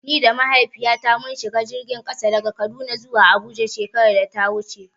Ni da Mahaifiyata mun shiga jirgin ƙasa daga Kaduna zuwa Abuja shekarar da ta wuce.